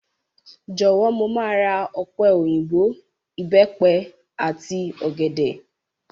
Jọ̀wọ́, mo máa ra ọ̀pẹ̀ òyìnbò, Ìbẹ́pẹ àti ọ̀gẹ̀dẹ̀.